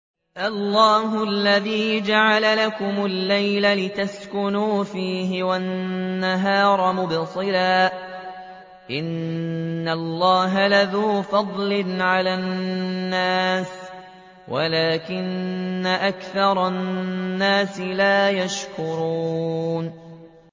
اللَّهُ الَّذِي جَعَلَ لَكُمُ اللَّيْلَ لِتَسْكُنُوا فِيهِ وَالنَّهَارَ مُبْصِرًا ۚ إِنَّ اللَّهَ لَذُو فَضْلٍ عَلَى النَّاسِ وَلَٰكِنَّ أَكْثَرَ النَّاسِ لَا يَشْكُرُونَ